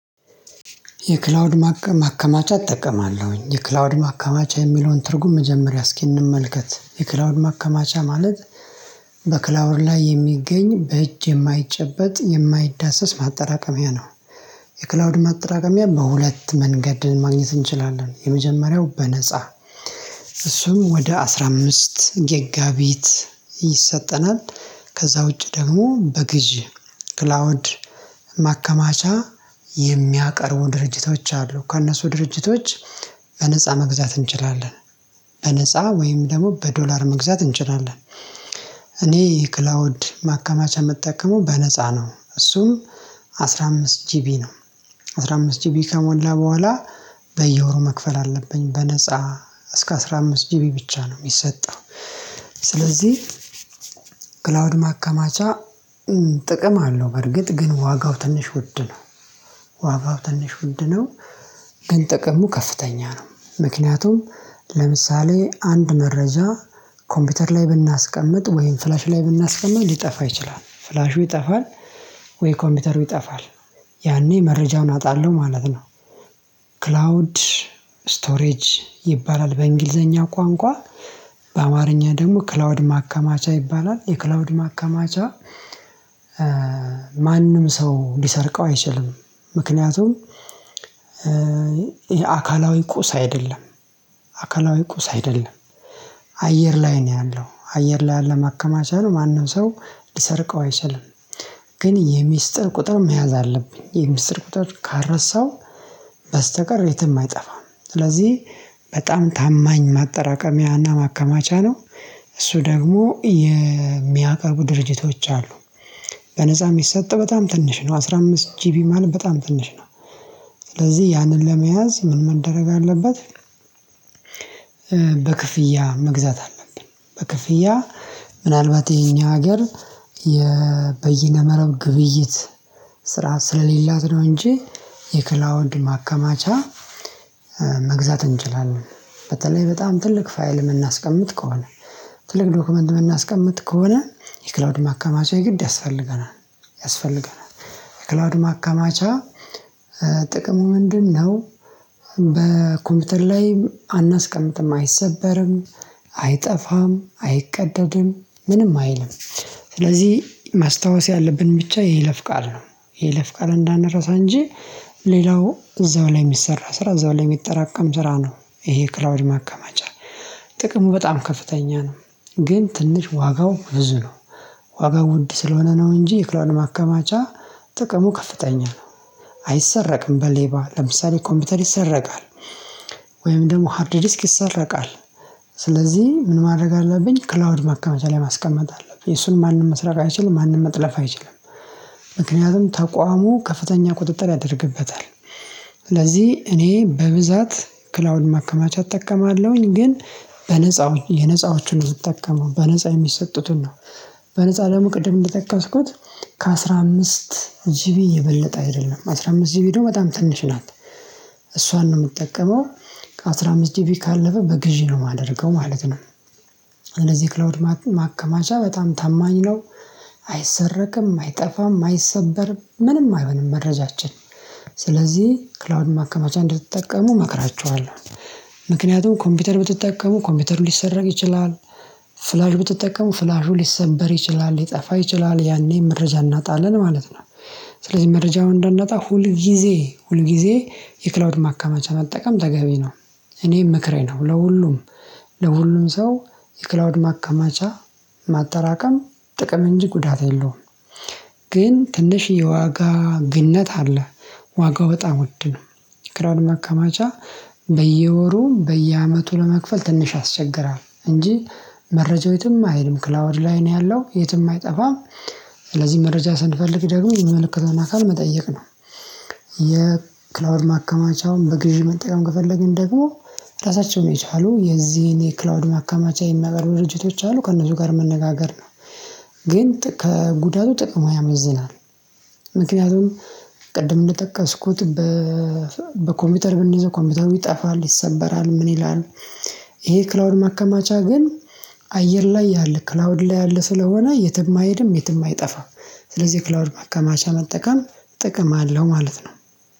የክላውድ ማከማቻ እጠቀማለሁኝ የክላውድ ማከማቻ የሚለውን ትርጉም መጀመሪያ እስኪ እንመልከት የክላውድ ማከማቻ ማለት በክላውድ ላይ የሚገኝ በእጅ የማይጨበጥ የማይዳሰስ ማጠራቀሚያ ነው። የክላውድ ማጠራቀሚያ በሁለት መንገድ ማግኘት እንችላለን የመጀመሪያው በነፃ እሱም ወደ አስራ አምስት ገጋቢት ይሰጠናል። ከዛ ውጪ ደግሞ በግዢ ክላውድ ማከማቻ የሚያቀርቡ ድርጅቶች አሉ ከእነሱ ድርጅቶች በነፃ መግዛት እንችላለን። በነፃ ወይም ደግሞ በዶላር መግዛት እንጨናለን። እኔ ክላውድ ማከማች የምጠቀመው በነፃ ነው እሱም አስራ አምስት ጂቢ ነው። አስራ አምስት ጂቢ ከሞላ በኋላ በየወሩ መክፈል አለብኝ። በነፃ እስከ አስራ አምስት ጂቢ ብቻ ነው የሚሰጠው። ስለዚህ ክላውድ ማከማቻ ጥቅም አለው በርግጥ ግን ዋጋው ትንሽ ውድ ነው። ዋጋው ትንሽ ውድ ነው። ግን ጥቀሙ ከፍተኛ ነው። ምክንያቱም ለምሳሌ አንድ መረጃ ኮምፒውተር ላይ ብናስቀምጥ ወይም ፍላሽ ላይ ብናስቀምጥ ሊጠፋ ይችላል ፍላሹ ይጠፋል። ወይ ኮምፒውተሩ ይጠፋል። ያኔ መረጃውን አጣለሁ ማለት ነው። ክላውድ ስቶሬጅ ይባላል በእንግሊዘኛ ቋንቋ በአማርኛ ደግሞ ክላውድ ማከማቻ ይባላል የክላውድ ማከማቻ። ማንም ሰው ሊሰርቀው አይችልም። ምክንያቱም አካላዊ ቁስ አይደለም። አካላዊ ቁስ አይደለም። አየር ላይ ነው ያለው አየር ላይ ያለ ማከማቻ ነው ማንም ሰው ሊሰርቀው አይችልም። ግን የሚስጥር ቁጥር መያዝ አለብኝ የሚስጥር ቁጥር ካልረሳው በስተቀር የትም አይጠፋም። ስለዚህ በጣም ታማኝ ማጠራቀሚያና ማከማቻ ነው። እሱ ደግሞ የሚያቀርቡ ድርጅቶች አሉ። በነፃ የሚሰጥ በጣም ትንሽ ነው አስራ አምስት ጂቢ ማን በጣም ትንሽ ነው። ስለዚህ ያንን ለመያዝ ምን መደረግ አለበት? በክፍያ መግዛት አለብን። በክፍያ ምናልባት ይሄኛው ሀገር የበየነ መረብ ግብይት ስርዓት ስለሌላት ነው። እንጂ የክላውድ ማከማቻ መግዛት እንችላለን። በተለይ በጣም ትልቅ ፋይል የምናስቀምጥ ከሆነ ትልቅ ዶክመንት የምናስቀምጥ ከሆነ የክላውድ ማካማቻ ግድ ያስፈልገናል። ያስፈልገናል የክላውድ ማከማቻ ጥቅሙ ምንድነው? በኮምፒውተር ላይ አናስቀምጥም አይሰበርም አይጠፋም አይቀደድም ምንም አይልም። ስለዚህ ማስታወስ ያለብን ብቻ የይለፍ ቃል ነው። ይለፍ ቃል እንዳንረሳ እንጂ። ሌላው እዛው ላይ የሚሰራ ስራ እዛው ላይ የሚጠራቀም ስራ ነው። ይሄ ክላውድ ማከማቻ ጥቅሙ በጣም ከፍተኛ ነው። ግን ትንሽ ዋጋው ብዙ ነው። ዋጋው ውድ ስለሆነ ነው እንጂ የክላውድ ማከማቻ ጥቅሙ ከፍተኛ ነው። አይሰረቅም በሌባ ለምሳሌ ኮምፒውተር ይሰረቃል። ወይም ደግሞ ሃርድ ዲስክ ይሰረቃል። ስለዚህ ምን ማድረግ አለብኝ ክላውድ ማከመቻ ላይ ማስቀመጥ አለብኝ የሱን ማንም መስራት አይችልም ማንም መጥለፍ አይችልም። ምክንያቱም ተቋሙ ከፍተኛ ቁጥጥር ያደርግበታል። ስለዚህ እኔ በብዛት ክላውድ ማከማቻ እጠቀማለሁኝ ግን በነፃው የነፃዎቹን የምጠቀመው በነፃ የሚሰጡትን ነው። በነፃ ደግሞ ቅድም እንደጠቀስኩት ከአሥራ አምስት ጂቢ የበለጠ አይደለም አስራ አምስት ጂቢ ቪዲዮ በጣም ትንሽ ናት። እሷን ነው የምጠቀመው። ከአሥራ አምስት ጂቢ ካለፈ በግዢ ነው የማደርገው ማለት ነው። ክላውድ ማከማቻ በጣም ታማኝ ነው። አይሰረቅም አይጠፋም አይሰበርም ምንም አይሆንም መረጃችን ስለዚህ ክላውድ ማከማቻ እንድትጠቀሙ እመክራችኋለሁ። ምክንያቱም ኮምፒውተር ብትጠቀሙ ኮምፒውተር ሊሰረቅ ይችላል። ፍላሽ ብትጠቀሙ ፍላሹ ሊሰንበር ይችላል ሊጠፋ ይችላል ያኔ መረጃ እናጣለን ማለት ነው። ስለዚህ መረጃውን እንዳናጣ ሁል ጊዜ ሁል ጊዜ የክላውድ ማከማቻ መጠቀም ተገቢ ነው። እኔም ምክሬ ነው ለሁሉም ለሁሉም ሰው የክላውድ ማቀማጫ ማጠራቀም ጥቅም እንጂ ጉዳት የለውም። ግን ትንሽ የዋጋ ግንነት አለ። ዋጋው በጣም ወድ ነው። ክላውድ ማከማቻ በየወሩ በየአመቱ ለመክፈል ትንሽ ያስቸግራል እንጂ መረጃው የትም አይሄድም ክላወድ ላይ ነው ያለው የትም አይጠፋም። ስለዚህ መረጃ ስንፈልግ ደግሞ የሚመለከተውን አካል መጠየቅ ነው። የክላውድ ማከማቻውን በግዢ መጠቀም ከፈለግን ደግሞ ራሳቸውን የቻሉ የዚህን የክላውድ ማከማቻ የሚያቀርቡ ድርጅቶች አሉ ከእነሱ ጋር መነጋገር ነው። ግን ከጉዳቱ ጥቅሙ ያመዝናል። ምክንያቱም ቅድም እንደጠቀስኩት በኮምፒውተር ብንይዘው ኮምፒውተሩ ይጠፋል ይሰበራል ምን ይላል? ይሄ ክላውድ ማከማቻ ግን አየር ላይ ያለ ክላውድ ላይ ያለ ስለሆነ የትም አይሄድም የትም አይጠፋም። ስለዚህ ክላውድ መከማቻ መጠቀም ጥቅም አለው ማለት ነው።